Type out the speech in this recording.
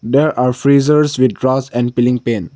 there are freezers with and peeling paint.